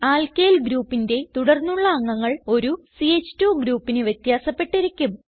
alkyl groupന്റെ തുടർന്നുള്ള അംഗങ്ങൾ ഒരു ച്ച്2 ഗ്രൂപ്പിന് വ്യത്യാസപ്പെട്ടിരിക്കും